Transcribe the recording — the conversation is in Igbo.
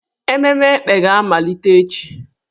Emume Ekpè ga-amalite echi.